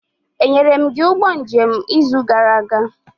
Enyere m gị ụgbọ njem n'izu gara aga?